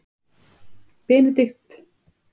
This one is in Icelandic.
Benedikt bar með sér.